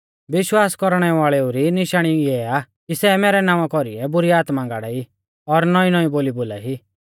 विश्वास कौरणै वाल़ेउ री निशाणी इऐ हुआ कि सै मैरै नावां कौरीऐ बुरी आत्मा गाड़ाई और नौईंनौईं बोली बोलाई